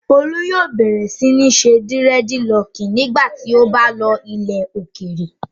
Olú yóò bẹ̀rẹ̀ sí ní ṣe dírẹ́dilọọkì nígbà tí ó bá lọ ilẹ̀ òkèèrè.